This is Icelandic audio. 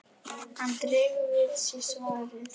Hann dregur við sig svarið.